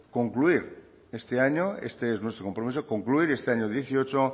concluir este año este es nuestro compromiso concluir este año dieciocho